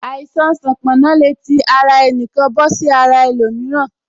Àìsàn sanponna le tí àti ara ẹnikan bọ sí ara ẹlòmíràn